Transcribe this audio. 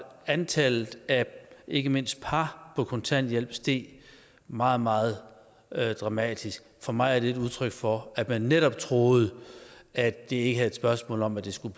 at antallet af ikke mindst par på kontanthjælp steg meget meget dramatisk for mig er det et udtryk for at man netop troede at det ikke er et spørgsmål om at det skal